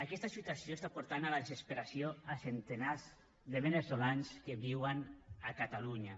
aquesta situació està portant a la desesperació centenars de veneçolans que viuen a catalunya